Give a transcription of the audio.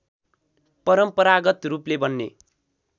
परम्परागत रूपले बन्ने